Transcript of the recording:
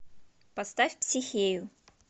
поставь психею